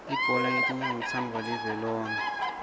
ibhola yetinyawo itsandvwa live lonkhe